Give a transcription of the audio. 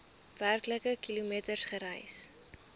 werklike kilometers gereis